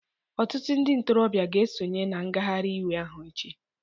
Ọtụtụ ndị ntorobịa ga-esonye na ngagharị iwe ahụ echi